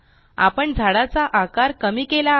आपण झाडाचा आकार कमी केला आहे